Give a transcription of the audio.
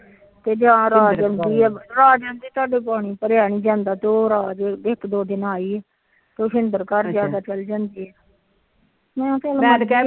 ਰਾਜ ਆ ਜਾਂਦੀ ਰਾਜ ਆ ਜਾਂਦੀ ਸਾਡੇ ਪਾਣੀ ਭਰਿਆ ਨੀ ਜਾਂਦਾ ਤੇ ਉਹ ਰਾਜ ਇੱਕ ਦੋ ਦਿਨ ਆਈ ਮੈ ਤੇ।